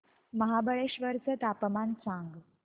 महाबळेश्वर चं तापमान सांग